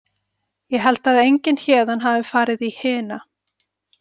Ég held að enginn héðan hafi farið í hina.